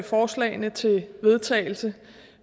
forslagene til vedtagelse